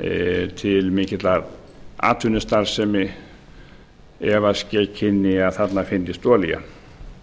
efna til mikillar atvinnustarfsemi ef ske kynni að þarna fyndist olía